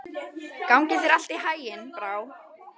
Gangi þér allt í haginn, Brá.